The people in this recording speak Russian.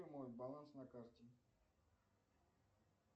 мой баланс на карте